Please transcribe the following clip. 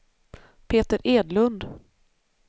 Peter Edlund